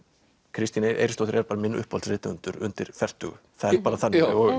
Kristín Eiríksdóttir er minn uppáhaldsrithöfundur undir fertugu það er bara þannig